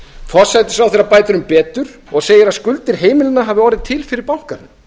forsætisráðherra bætir um betur og segir að skuldir heimilanna hafi orðið til fyrir bankahrun